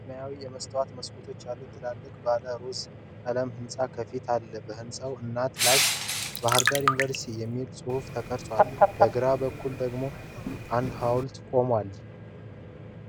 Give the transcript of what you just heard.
ሰማያዊ የመስታወት መስኮቶች ያሉት ትልቅ ባለ-ሮዝ ቀለም ሕንፃ ከፊት አለ። በሕንፃው አናት ላይ ባሕር ዳር ዩኒቨርሲቲ የሚል ጽሑፍ ተቀርጾ፣ በግራ በኩል ደግሞ አንድ ሐውልት ቆሟል።